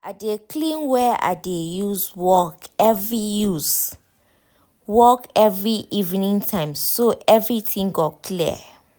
i dey clean where i dey use work every use work every evening time so everytin go clear